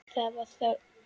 Það var þögn.